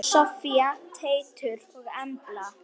Soffía, Teitur og Embla.